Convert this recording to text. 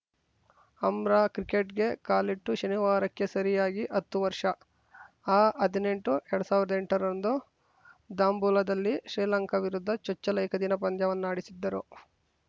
ಅಂರಾಕ್ರಿಕೆಟ್‌ಗೆ ಕಾಲಿಟ್ಟು ಶನಿವಾರಕ್ಕೆ ಸರಿಯಾಗಿ ಹತ್ತು ವರ್ಷ ಆಹದ್ನೆಂಟು ಎರಡ್ ಸಾವಿರ್ದಾ ಎಂಟರಂದು ದಾಂಬುಲಾದಲ್ಲಿ ಶ್ರೀಲಂಕಾ ವಿರುದ್ಧ ಚೊಚ್ಚಲ ಏಕದಿನ ಪಂದ್ಯವನ್ನಾಡಿಸಿದ್ದರು